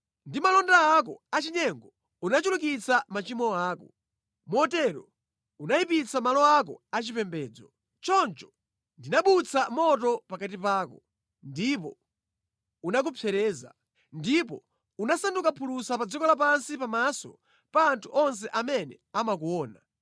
Ndi malonda ako achinyengo unachulukitsa machimo ako. Motero unayipitsa malo ako achipembedzo. Choncho ndinabutsa moto pakati pako, ndipo unakupsereza, ndipo unasanduka phulusa pa dziko lapansi pamaso pa anthu onse amene amakuona.